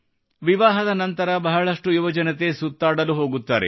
ವಿವಾಹದ ನಂತರ ಬಹಳಷ್ಟು ಯುವಜನತೆ ಸುತ್ತಾಡಲು ಹೋಗುತ್ತಾರೆ